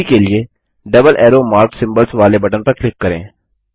अभी के लिए डबल एरो मार्क सिम्बल्स वाले बटन पर क्लिक करें